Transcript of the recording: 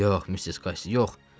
Yox, Missis Qassi, yox.